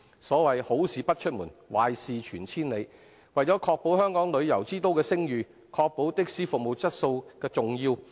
所謂"好事不出門，壞事傳千里"，為保香港旅遊之都的聲譽，因此確保的士服務質素十分重要。